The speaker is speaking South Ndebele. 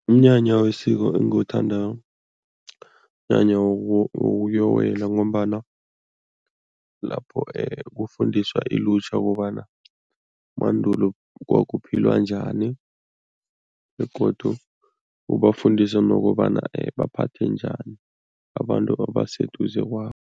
Umnyanya wesiko engiwuthandako, mnyanya wokuyokuwela ngombana lapho kufundiswa ilutjha kobana mandulo kwakuphilwa njani begodu ubafundisa nokobana baphathe njani abantu abaseduze kwabo.